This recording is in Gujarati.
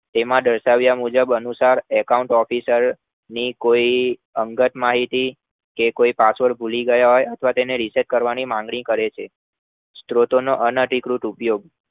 તેમાં દર્શ્વ્યા મુજબ અનુસાર account officer ની કોઈ અંગત માહિતી તે કોઈ password ભૂલી ગયા અથવા તેને reset કરવાની માંગણી કરે છે સ્ત્રોતોનો અનધિકૃત ઉપયોગ